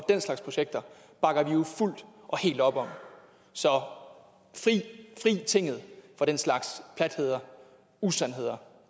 den slags projekter bakker vi jo fuldt og helt op om så fri tinget for den slags platheder usandheder